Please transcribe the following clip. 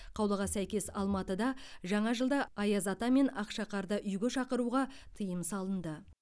қаулыға сәкес алматыда жаңа жылда аяз ата мен ақшақарды үйге шақыруға тыйым салынды